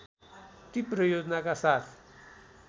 तीव्र योजनाका साथ